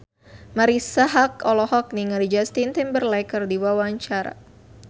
Marisa Haque olohok ningali Justin Timberlake keur diwawancara